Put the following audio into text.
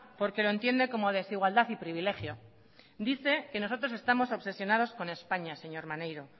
porque lo entiende como desigualdad y privilegio dice que nosotros estamos obsesionados con españa señor maneiro